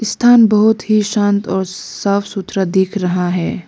स्थान बहुत ही शांत और साफ सुथरा दिख रहा है।